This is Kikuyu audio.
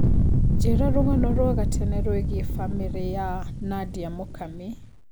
njĩra rũgano rwa gatene rũĩgĩe bamĩrĩ ya Nadia Mukami